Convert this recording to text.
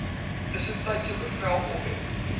tussentydse bevel ophef